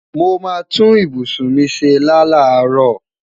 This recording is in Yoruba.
Mo mà tún ìbùṣún mi ṣẹ́ lá laro